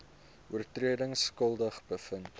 oortredings skuldig bevind